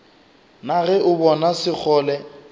na ge o bona sekgole